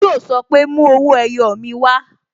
Yo sọ pé "Mú owó ẹyọ mi wá"